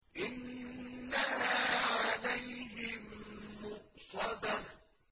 إِنَّهَا عَلَيْهِم مُّؤْصَدَةٌ